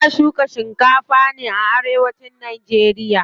Ana shuka shikafa ne a arewacin nageriya.